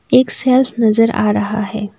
एक शेल्फ नज़र आ रहा है।